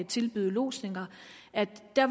tilbyder lodsning